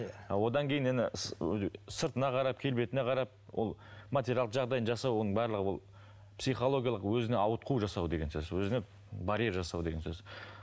одан кейін нені ыыы сыртына қарап келбетіне қарап ол материалдық жағдайын жасау оның барлығы ол психологиялық өзіне ауытқу жасау деген сөз өзіне барьер жасау деген сөз